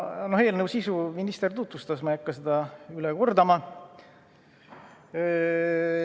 Eelnõu sisu minister tutvustas, ma ei hakka seda üle kordama.